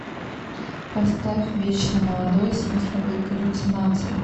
поставь вечно молодой смысловых галлюцинаций